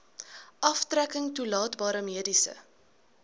aftrekking toelaatbare mediese